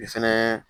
I fɛnɛ